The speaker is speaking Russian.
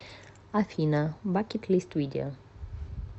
афина бакет лист видео